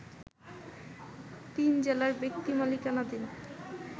তিন জেলার ব্যক্তি মালিকানাধীন